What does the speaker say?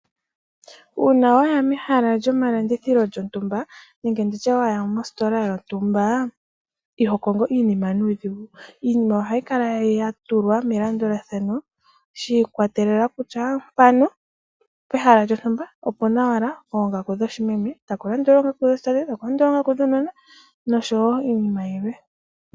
Uuna waya mehala lyomalandithilo lyontumba, nenge nditye mositola yontumba, iho kongo iinima nuudhigu. Iinima ohayi kala ya tulwa melandulathano, sha ikwatelela kutya mpano pehala lyontumba opuna owala oongaku dho shimeme, taku landula oongaku dhoshi tate, taku landul oongaku dhuunona noshowo iinima yilwe.